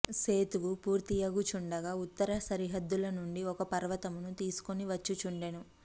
సేతువు పూర్తియగు చుండగా ఉత్తర సరిహద్దుల నుండి ఒక పర్వతమును తీసుకుని వచ్చుచుండెను